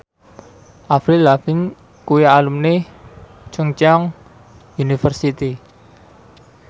Avril Lavigne kuwi alumni Chungceong University